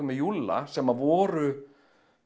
með Júlla sem voru